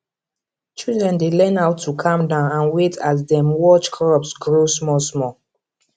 children dey learn how to calm down and wait as dem watch crops grow small small